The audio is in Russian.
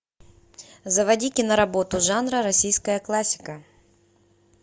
заводи киноработу жанра российская классика